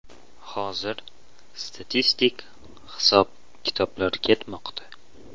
Hozir statistik hisob-kitoblar ketmoqda.